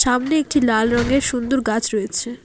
সামনে একটি লাল রঙের সুন্দর গাছ রয়েছে।